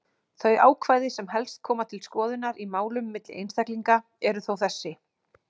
Þau ákvæði sem helst koma til skoðunar í málum milli einstaklinga eru þó þessi: